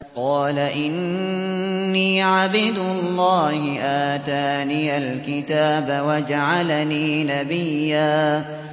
قَالَ إِنِّي عَبْدُ اللَّهِ آتَانِيَ الْكِتَابَ وَجَعَلَنِي نَبِيًّا